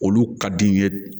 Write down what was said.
Olu ka di n ye